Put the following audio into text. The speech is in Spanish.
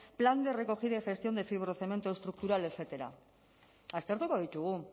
plan de recogida y gestión de fibrocemento estructural etcétera aztertuko ditugu